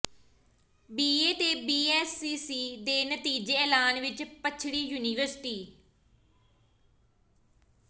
BA ਤੇ BSc ਦੇ ਨਤੀਜੇ ਐਲਾਨਣ ਵਿੱਚ ਪਛੜੀ ਯੂਨੀਵਰਸਿਟੀ